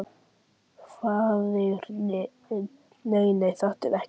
Faðirinn: Nei nei, þetta er ekkert.